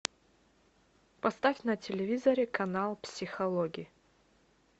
поставь на телевизоре канал психологи